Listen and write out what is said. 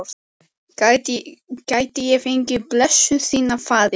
Gæti ég fengið blessun þína, faðir?